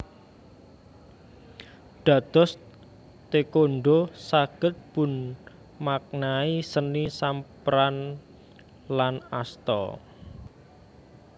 Dados Taékwondho saged dipunmaknani seni samparan lan asta